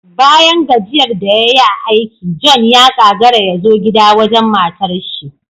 Bayan gajiyar da yayi a aiki, John ya kagara yazo gida wajen matarshi